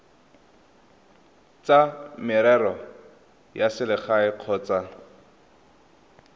tsa merero ya selegae kgotsa